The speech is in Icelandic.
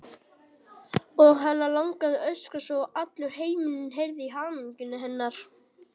Og hana langaði að öskra svo að allur heimurinn heyrði í hamingju hennar.